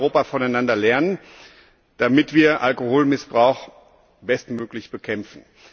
Wir können in Europa voneinander lernen, damit wir Alkoholmissbrauch bestmöglich bekämpfen.